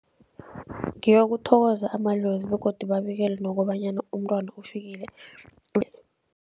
Ngeyokuthokoza amadlozi begodu babikele nokobanyana umntwana ufikile.